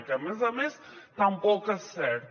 que a més a més tampoc és cert